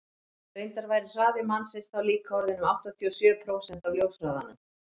reyndar væri hraði mannsins þá líka orðinn um áttatíu og sjö prósent af ljóshraðanum